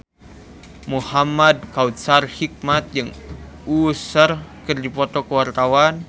Muhamad Kautsar Hikmat jeung Usher keur dipoto ku wartawan